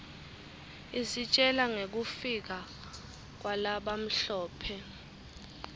isitjela ngekufika kwalabamhlope